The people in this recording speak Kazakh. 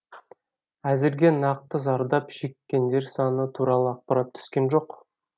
әзірге нақты зардап шеккендер саны туралы ақпарат түскен жоқ